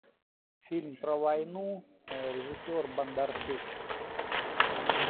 фильм про войну режиссер бондарчук